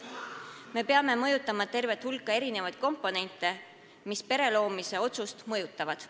Me peame arvestama tervet hulka komponente, mis pereloomise otsust mõjutavad.